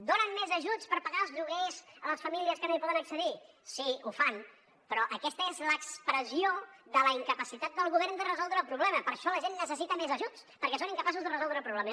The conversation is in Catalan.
donen més ajuts per pagar els lloguers a les famílies que no hi poden accedir sí ho fan però aquesta és l’expressió de la incapacitat del govern de resoldre el problema per això la gent necessita més ajuts perquè són incapaços de resoldre el problema